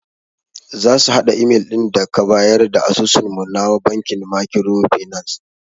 Zasu hada imel din daka bayar da asusun mu na bankin makiro finas.